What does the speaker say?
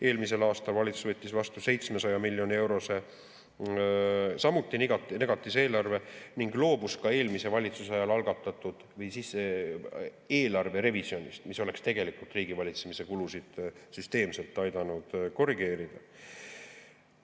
Eelmisel aastal võttis valitsus vastu 700 miljoni eurose samuti negatiivse eelarve ning loobus ka eelmise valitsuse ajal algatatud eelarve revisjonist, mis oleks tegelikult aidanud riigivalitsemise kulusid süsteemselt korrigeerida.